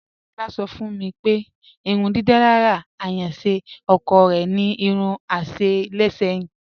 Adebọla sọ̀ fún mi pé ìrùndídalára ayànṣé ọ̀kọ̀ rẹ̀ ni irún àṣẹ̀ ṣẹ̀yìn.